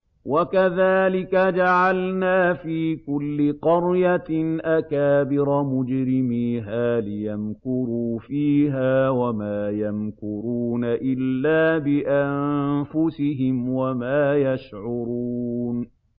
وَكَذَٰلِكَ جَعَلْنَا فِي كُلِّ قَرْيَةٍ أَكَابِرَ مُجْرِمِيهَا لِيَمْكُرُوا فِيهَا ۖ وَمَا يَمْكُرُونَ إِلَّا بِأَنفُسِهِمْ وَمَا يَشْعُرُونَ